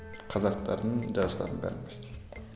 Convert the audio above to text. қазақтардың жазушыларын бәрін почти